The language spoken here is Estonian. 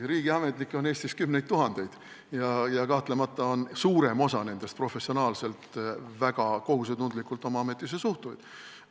Riigiametnikke on Eestis kümneid tuhandeid ja kahtlemata on suurem osa nendest professionaalselt ja väga kohusetundlikult oma ametisse suhtujad.